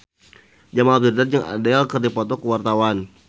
Jamal Mirdad jeung Adele keur dipoto ku wartawan